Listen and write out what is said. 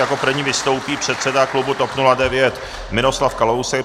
Jako první vystoupí předseda klubu TOP 09 Miroslav Kalousek.